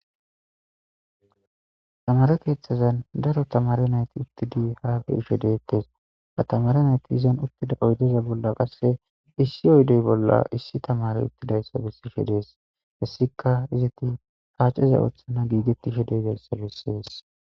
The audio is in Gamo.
Tamare keththazan daaro tamare nayti uttidi ha beishe dettes ha tamaretikka izzan uttida oyddeza bolla qasse issi oyddey bolla issi tamarey uttidayssa besishe dessi hessika iizeta paaceza oththana giigetishe dizayssa bessesi.